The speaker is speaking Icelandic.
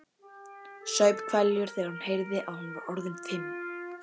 Saup hveljur þegar hún heyrði að hún var orðin fimm.